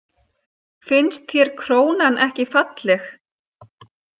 Finnst þér krónan ekki falleg?